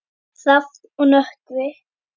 Hrafn og Nökkvi.